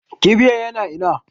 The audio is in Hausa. Kibiyan yana ina?